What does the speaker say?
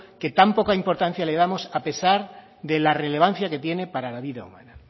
que tan poco importancia le damos a pesar de la relevancia que tiene para la vida humana